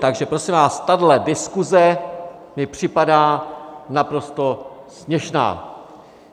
Takže prosím vás, tahle diskuse mi připadá naprosto směšná!